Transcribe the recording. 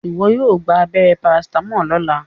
iwọ yóò gbà abéré paracetamol lọla!